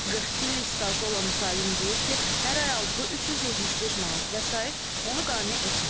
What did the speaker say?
42 illik stajı olan müsahibim deyir ki, hər ay aldığı 375 manat vəsait onu qane etmir.